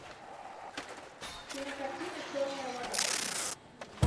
кинокартина черная вода